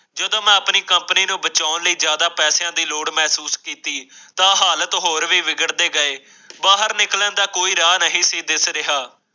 ਜਦੋਂ ਆਪਣੀ ਕੰਪਨੀ ਨੂੰ ਬਚਾਉਣ ਲਈ ਜ਼ਿਆਦਾ ਪੈਸਿਆਂ ਦੀ ਲੋੜ ਮਹਿਸੂਸ ਕੀਤੀ ਤਾ ਹਾਲਤ ਹੋਰ ਵੀ ਵਿਗੜ ਦੇ ਗਏ। ਬਾਹਰ ਨਿਕਲਣ ਦਾ ਕੋਈ ਰਾਹ ਨਹੀਂ ਸੀ ਦਿਸ ਰਿਹਾ